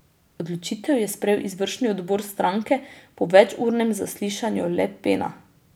Odločitev je sprejel izvršni odbor stranke po večurnem zaslišanju Le Pena.